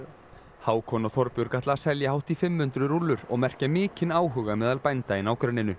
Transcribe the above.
Hákon og Þorbjörg ætla að selja hátt í fimm hundruð rúllur og merkja mikinn áhuga meðal bænda í nágrenninu